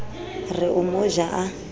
re o mo ja a